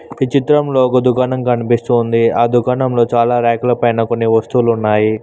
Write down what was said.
ఒక చిత్రంలో ఒక దుకాణం కనిపిస్తూ ఉంది ఆ దుకాణంలో చాలా ర్యాక్ ల పైన కొన్ని వస్తువులు ఉన్నాయి.